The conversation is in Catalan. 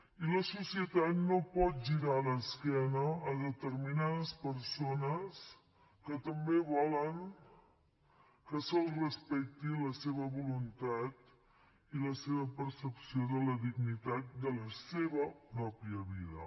i la societat no pot girar l’esquena a determinades persones que també volen que se’ls respecti la seva voluntat i la seva percepció de la dignitat de la seva pròpia vida